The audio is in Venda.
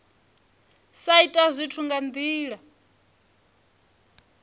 sa ita zwithu nga ndila